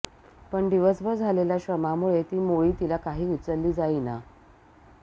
पण दिवसभर झालेल्या श्रमामुळे ती मोळी तिला काही उचलली जाईना